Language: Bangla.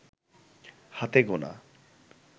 হাতে গোনা